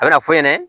A bɛna fɔ ɲɛna